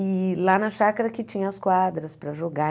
E lá na chácara que tinha as quadras para jogar.